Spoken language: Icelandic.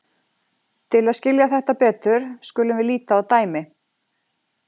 Til að skilja þetta betur skulum við líta á dæmi.